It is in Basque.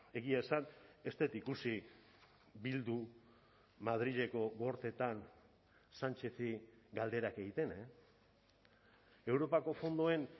egia esan ez dut ikusi bildu madrileko gorteetan sánchezi galderak egiten europako fondoen